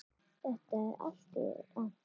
Þetta er allt rangt.